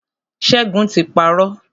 Ṣẹ́gun ti parọ́.